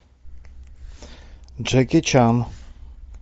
джеки чан